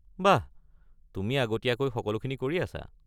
বাহ, তুমি আগতীয়াকৈ সকলোখিনি কৰি আছা।